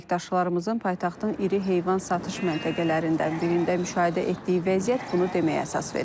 Əməkdaşlarımızın paytaxtın iri heyvan satış məntəqələrindən birində müşahidə etdiyi vəziyyət bunu deməyə əsas verir.